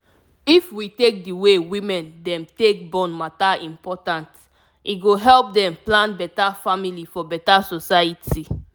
if we take d way women dem take born matter important e go help dem plan beta family for beta society